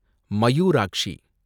Mayurakshi